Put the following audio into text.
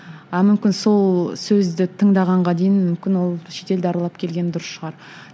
а мүмкін сол сөзді тыңдағанға дейін мүмкін ол шетелді аралап келген дұрыс шығар